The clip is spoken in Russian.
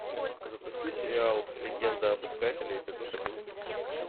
запусти сериал легенда об искателе эпизод одиннадцать